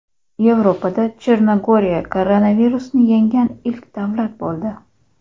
Yevropada Chernogoriya koronavirusni yengan ilk davlat bo‘ldi.